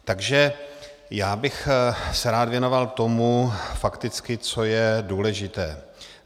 Takže já bych se rád věnoval tomu fakticky, co je důležité.